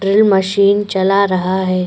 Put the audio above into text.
Drill machine चला रहा है।